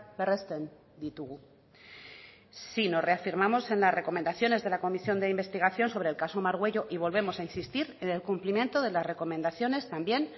berresten ditugu sí nos reafirmamos en las recomendaciones de la comisión de investigación sobre el caso margüello y volvemos a insistir en el cumplimiento de las recomendaciones también